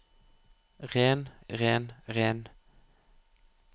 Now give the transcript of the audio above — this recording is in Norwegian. ren ren ren